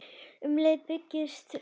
Um leið byggist upp traust.